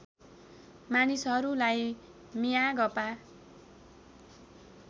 मानिसहरूलाई मियागपा